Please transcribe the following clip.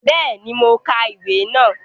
Béèni, mo ka ìwé náà